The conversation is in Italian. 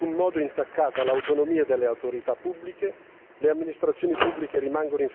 Nel far questo non viene, però, in alcun modo intaccata l'autonomia delle autorità pubbliche.